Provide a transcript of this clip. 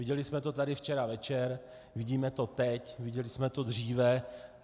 Viděli jsme to tady včera večer, vidíme to teď, viděli jsme to dříve.